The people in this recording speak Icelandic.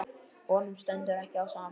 Honum stendur ekki á sama.